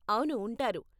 అవును, ఉంటారు.